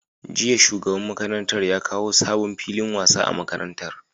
Jiya shugaban makarantar ya kawo sabon filin wasa a makarantar